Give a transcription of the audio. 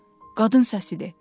Qadın səsi idi.